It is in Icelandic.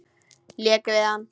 Lék við hana.